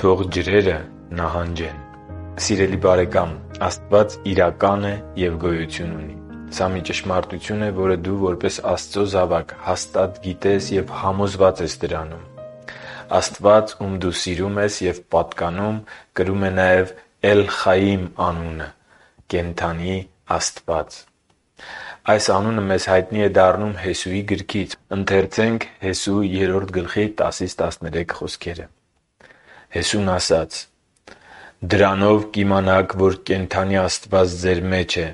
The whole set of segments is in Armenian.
Թո՛ղ ջրերը նահանջեն․․․ Սիրելի՛բարեկամ, Աստված իրական է և գոյություն ունի։ Սա մի ճշմարտություն է, որը դու, որպես Աստծո զավակ, հաստատ գիտես և համոզված ես դրանում։ Աստված, Ում դու սիրում ես և պատկանում, կրում է նաև Էլ-Խայիմ անունը՝ Կենդանի Աստված։ Այս անունը մեզ հայտնի է դառնում Հեսուի գրքից՝ մասնավորապես Հեսու 3.10-13 հատվածում. «Հեսուն ասաց. «Դրանով կիմանաք, որ կենդանի Աստվածը ձեր մեջ է,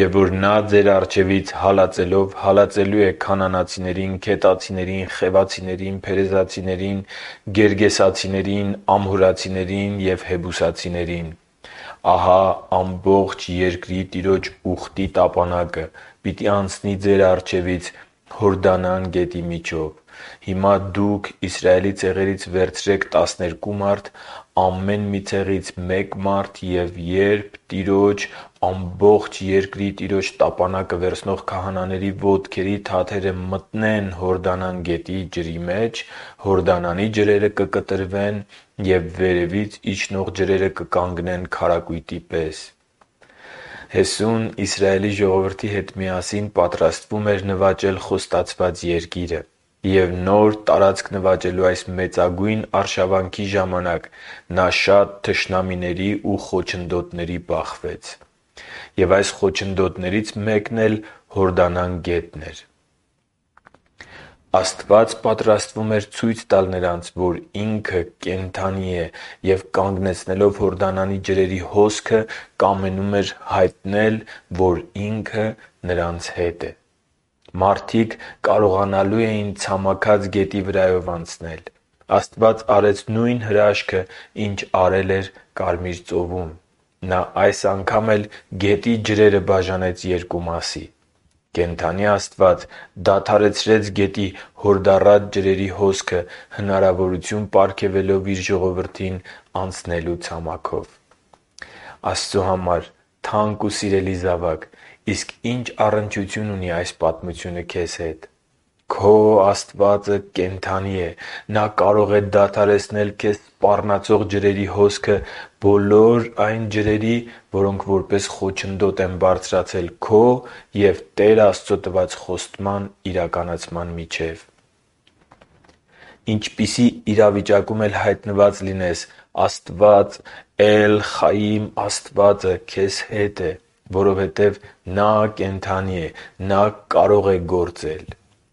և որ Նա ձեր առջևից հալածելով հալածելու է քանանացիներին, քետացիներին, խևացիներին, փերեզացիներին, գերգեսացիներին, ամորհացիներին և հեբուսացիներին։ Ահա ամբողջ երկրի Տիրոջ ուխտի տապանակը պիտի անցնի ձեր առջևից Հորդանան գետի միջով։ Հիմա դուք Իսրայելի ցեղերից վերցրե՛ք տասներկու մարդ՝ ամեն մի ցեղից մի մարդ, և երբ Տիրոջ՝ ամբողջ երկրի Տիրոջ տապանակը վերցնող քահանաների ոտքերի թաթերը մտնեն Հորդանան գետի ջրի մեջ, Հորդանանի ջրերը կկտրվեն, և վերևից իջնող ջրերը կկանգնեն քարակույտի պես»։ Հեսուն Իսրայելի ժողովրդի հետ միասին պատրաստվում էր նվաճել Խոստացված Երկիրը։ Եվ նոր տարածք նվաճելու այս մեծագույն արշավանքի ժամանակ նա շատ թշնամիների ու խոչընդոտների բախվեց։ Եվ այս խոչընդոտներից մեկն էլ Հորդանան գետն էր։ Աստված պատրաստվում էր ցույց տալ նրանց, որ Ինքը կենդանի է և, կանգնեցնելով Հորդանանի ջրերի հոսքը, կամենում էր հայտնել, որ Ինքը նրանց հետ է։ Մարդիկ կարողանալու էին ցամաքած գետի վրայով անցնել։ Աստված արեց նույն հրաշքն, ինչն արել էր Կարմիր ծովում…Նա այս անգամ էլ գետի ջրերը բաժանեց երկու մասի։ Կենդանի Աստված դադարեցրեց գետի հորդառատ ջրերի հոսքը՝ հնարավորություն պարգևելով Իր ժողովրդին անցնելու ցամաքով։ Աստծո համար թանկ ու սիրելի՛ զավակ, իսկ ի՞նչ առնչություն ունի այս պատմությունը քե՛զ հետ։ Քո Աստվածը կենդանի՛ է։ Նա կարող է դադարեցնել քեզ սպառնացող ջրերի հոսքը, բոլոր այն ջրերի, որոնք որպես խոչընդոտ են բարձրացել քո և Տեր Աստծո տված խոստման իրականացման միջև։ Ինչպիսի իրավիճակում էլ հայտնված լինես, Աստված՝ Էլ-Խայիմը, քեզ հետ է։ Որովհետև Նա կենդանի է։ Նա կարող է գործել։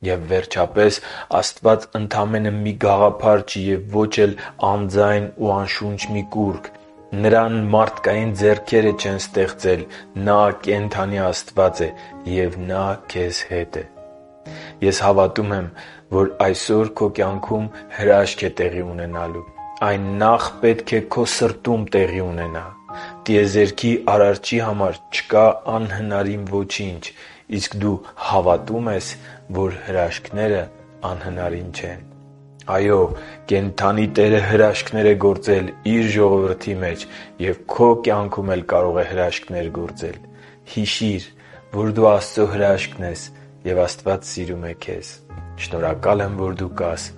Եվ վերջապես, Աստված ընդամենը մի գաղափար չէ և ո՛չ էլ անձայն ու անշունչ մի կուռք։ Նրան մարդկային ձեռքերը չեն ստեղծել։ Նա ԿԵՆԴԱՆԻ ԱՍՏՎԱԾ է։ Եվ Նա ՔԵԶ ՀԵՏ է։ Ես հավատում եմ, որ այսօր քո կյանքում հրաշք է տեղի ունենալու։ Այն նախ պետք է քո սրտում տեղի ունենա։ Տիեզերքի Արարչի համար չկա անհնարին ոչինչ։ Իսկ դու հավատո՞ւմ ես, որ հրաշքները անհնարին չեն։ Այո՛, կենդանի Տերը հրաշքներ է գործել Իր ժողովրդի մեջ, և քո կյանքում էլ կարող է հրաշքներ գործել։ Հիշի՛ր, որ դու Աստծո հրաշքն ես, և Աստված սիրում է քեզ։ Շնորհակալ եմ, որ դու կա՛ս։